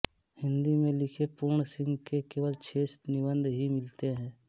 हिंदी में लिखे पूर्णसिंह के केवल छह निबंध ही मिलते हैं